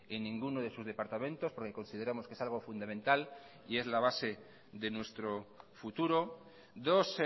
en ninguno de sus departamentos porque consideramos que es algo fundamental y es la base de nuestro futuro dos